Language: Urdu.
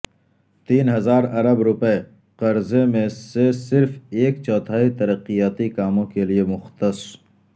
تین ہزار ارب روپے قرضے میں سے صرف ایک چوتھائی ترقیاتی کاموں کے لئے مختص